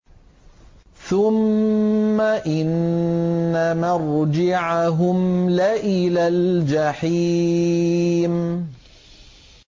ثُمَّ إِنَّ مَرْجِعَهُمْ لَإِلَى الْجَحِيمِ